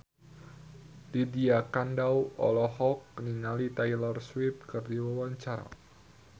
Lydia Kandou olohok ningali Taylor Swift keur diwawancara